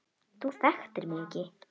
Þú þekktir mig ekki.